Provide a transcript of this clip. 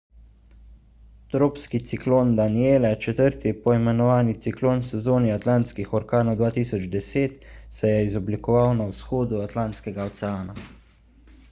tropski ciklon danielle četrti poimenovani ciklon v sezoni atlantskih orkanov 2010 se je izoblikoval na vzhodu atlantskega oceana